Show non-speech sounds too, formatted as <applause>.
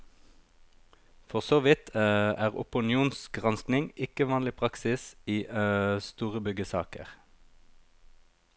For så vidt <hesitation> er opinionsgranskning ikke vanlig praksis i <hesitation> store byggesaker.